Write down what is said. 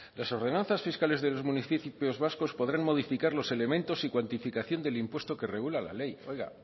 las ordenanzas fiscales de los municipios vascos podrán modificar los elementos y cuantificación del impuesto que regula la ley oiga